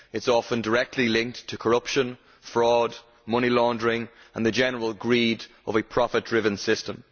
It is often directly linked to corruption, fraud, money laundering and the general greed of a profit driven system.